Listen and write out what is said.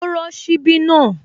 Ó rọ́ ṣíbí náà